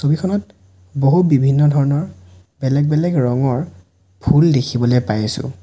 ছবিখনত বহু বিভিন্ন ধৰণৰ বেলেগ বেলেগ ৰঙৰ ফুল দেখিবলে পাই আছোঁ।